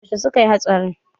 Yaushe suka yi hatsarin?